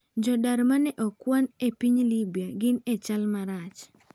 Jodar maneokwano epiny Libya gin e chal marach